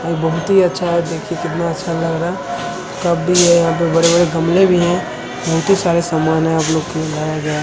और बहुत ही अच्छा है देखिये कितना अच्छा लग रहा है कप भी है यहां पे बड़े-बड़े गमले भी है बहुत ही सारा सामान है आपलोग के लिए लाया गया।